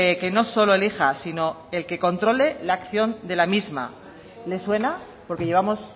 que no solo elija sino el que controle la acción de la misma le suena porque llevamos